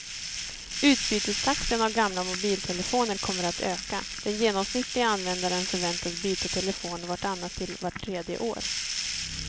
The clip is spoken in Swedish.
Utbytestakten av gamla mobiltelefoner kommer att öka, den genomsnittliga användaren förväntas byta telefon vart annat till vart tredje år.